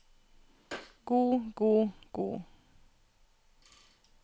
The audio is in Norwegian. god god god